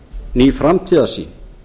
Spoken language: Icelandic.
ný framtíðarsýn